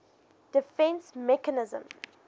defence mechanism